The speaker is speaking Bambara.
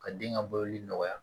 Ka den ka baloli nɔgɔya